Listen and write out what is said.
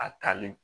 A talen